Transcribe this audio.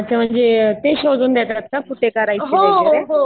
अच्छा. म्हणजे तेच शोधून देतात का कुठे करायचं वगैरे.